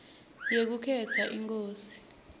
yekukhetsa inkosi